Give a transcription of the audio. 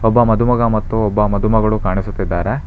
ಒಬ್ಬ ಮದುಮಗ ಮತ್ತು ಒಬ್ಬ ಮದುಮಗಳು ಕಾಣಿಸುತ್ತಿದ್ದಾರೆ.